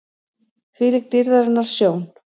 ÞVÍLÍK DÝRÐARINNAR SJÓN!